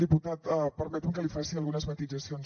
diputat permeti’m que li faci algunes matisacions